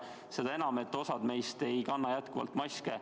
Seda enam, et osa meist ei kanna jätkuvalt maski.